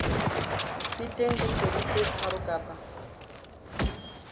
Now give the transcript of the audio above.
feteng dikgwedi tse tharo kapa